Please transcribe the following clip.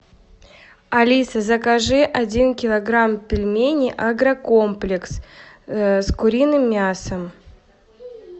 алиса закажи один килограмм пельменей агрокомплекс с куриным мясом